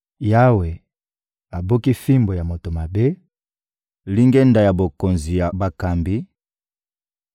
Yawe abuki fimbu ya moto mabe, lingenda ya bokonzi ya bakambi,